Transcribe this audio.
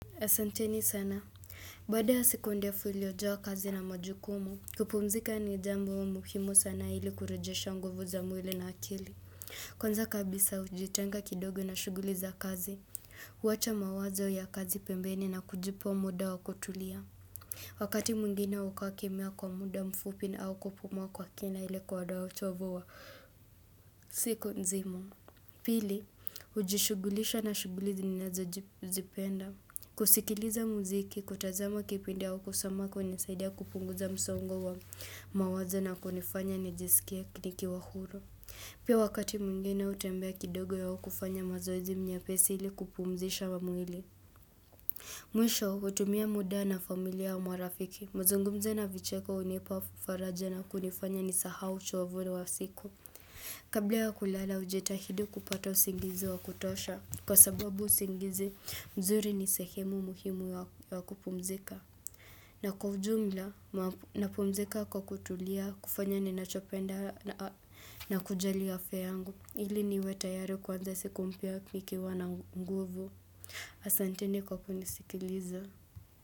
Asanteni sana. Baada ya siku ndefu iliojawa kazi na majukumu, kupumzika ni jambo wa muhimu sana ili kurejesha nguvu za mwili na akili. Kwanza kabisa hujitenga kidogo na shughuli za kazi. Huwacha mawazo ya kazi pembeni na kujipa muda wa kutulia. Wakati mwingine hukaa kimya kwa muda mfupi na au kupumua kwa kina ili kuondoa uchovo wa siku nzima. Pili, hujishugulisha na shughuli zinazo jipenda. Kusikiliza muziki, kutazama kipindi au kusoma kunisaidia kupunguza msongo wa mawazo na kunifanya nijisikie nikiwa huru. Pia wakati mwingine hutembea kidogo au kufanya mazoezi nyepesi ili kupumzisha mwili. Mwisho, hutumia muda na familia wa marafiki. Mazungumzo na vicheko hunipa faraja na kunifanya nisahau uchovu ule wa siku. Kabla ya kulala hujitahidi kupata usingizi wa kutosha kwa sababu usingizi mzuri ni sehemu muhimu wa kupumzika. Na kwa ujumla napumzika kwa kutulia kufanya ninachopenda na kujali afya yangu ili niwe tayari kuanza siku mpya nikiwa na nguvu. Asanteni kwa kunisikiliza.